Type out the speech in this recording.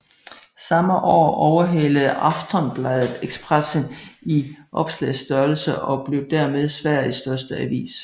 Samme år overhalede Aftonbladet Expressen i oplagsstørrelse og blev dermed Sveriges største avis